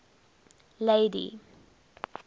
lady